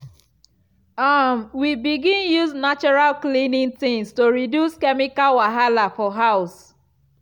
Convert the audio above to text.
um we begin use natural cleaning things to reduce chemical wahala for house.